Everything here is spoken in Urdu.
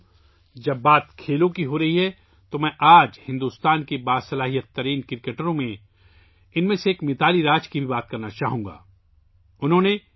ساتھیو، جب کھیل کی بات آتی ہے، تو آج میں متالی راج کے بارے میں بھی بات کرنا چاہوں گا، جو ہندوستان کی سب سے باصلاحیت کرکٹرز میں سے ایک ہیں